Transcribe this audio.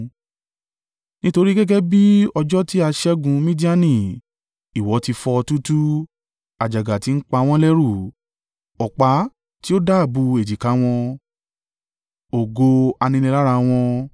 Nítorí gẹ́gẹ́ bí ọjọ́ tí a ṣẹ́gun Midiani, ìwọ ti fọ́ ọ túútúú àjàgà ti ń pa wọ́n lẹ́rù, ọ̀pá tí ó dábùú èjìká wọn, ọ̀gọ aninilára wọn.